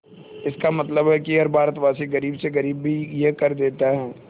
इसका मतलब है कि हर भारतवासी गरीब से गरीब भी यह कर देता है